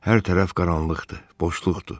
Hər tərəf qaranlıqdır, boşluqdur.